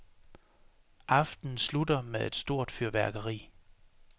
Aftenen slutter med et stort fyrværkeri.